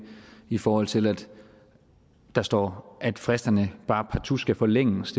i forhold til at der står at fristerne bare partout skal forlænges